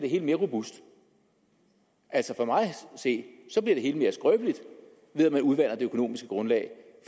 det hele mere robust altså for mig at se bliver det hele mere skrøbeligt ved at man udvander det økonomiske grundlag